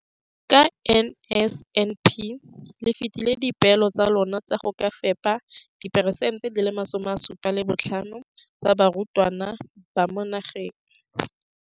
Ka NSNP le fetile dipeelo tsa lona tsa go fepa masome a supa le botlhano a diperesente ya barutwana ba mo nageng.